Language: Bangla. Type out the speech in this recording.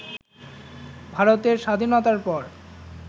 ভারতের স্বাধীনতার পর